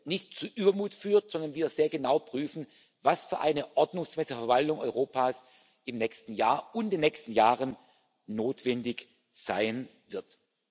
nicht zu Übermut führt, sondern wir sehr genau prüfen, was für eine ordnungsgemäße Verwaltung Europas im nächsten Jahr und in den nächsten Jahren notwendig sein wird.